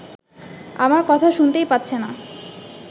আমার কথা শুনতেই পাচ্ছে না